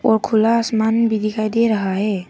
और खुला आसमान भी दिखाई दे रहा है।